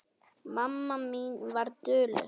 Mamma mín var dugleg.